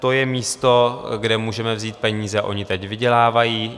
To je místo, kde můžeme vzít peníze, oni teď vydělávají.